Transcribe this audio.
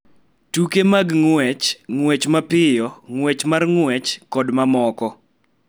Tuke mag ng�wech, ng�wech mapiyo, ng�wech mar ng�wech, kod mamoko.